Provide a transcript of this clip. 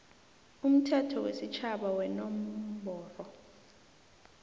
umthetho wesitjhaba wenomboro